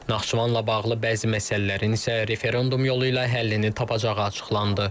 Naxçıvanla bağlı bəzi məsələlərin isə referendum yolu ilə həllini tapacağı açıqlandı.